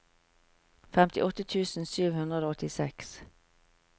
femtiåtte tusen sju hundre og åttiseks